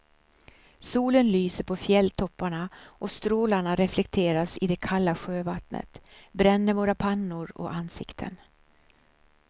Solen lyser på fjälltopparna och strålarna reflekteras i det kalla sjövattnet, bränner våra pannor och ansikten.